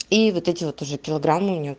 и вот эти вот уже килограммы у нее